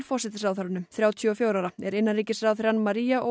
forsætisráðherranum þrjátíu og fjögurra ára er innanríkisráðherrann